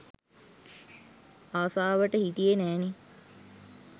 ආසාවට හිටියේ නෑනේ